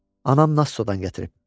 Anam Nassodan gətirib.